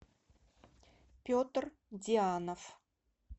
петр дианов